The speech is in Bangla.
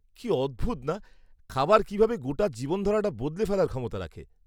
-কি অদ্ভুত না, খাবার কীভাবে গোটা জীবনধারাটা বদলে ফেলার ক্ষমতা রাখে।